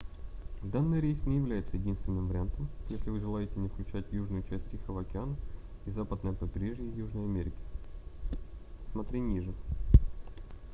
данный рейс не является единственным вариантом если вы желаете не включать южную часть тихого океана и западное побережье южной америки. см. ниже